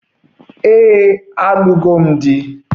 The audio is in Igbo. Ee, m lụrụ di na nwunye.